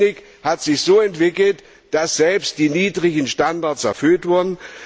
Die Technik hat sich so entwickelt, dass selbst die hohen Standards erfüllt wurden.